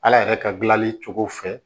Ala yɛrɛ ka gilali cogo fɛ